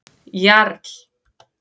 Jarl